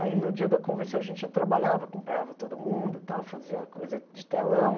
Aí, no dia da convenção, a gente já trabalhava, acompanhava todo mundo, e tal, fazia coisa de telão.